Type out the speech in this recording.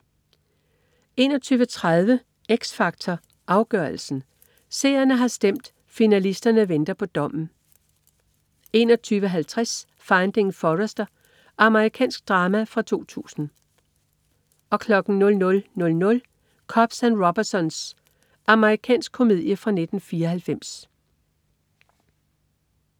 21.30 X Factor Afgørelsen. Seerne har stemt, og finalisterne venter på dommen 21.50 Finding Forrester. Amerikansk drama fra 2000 00.00 Cops and Robbersons. Amerikansk komedie fra 1994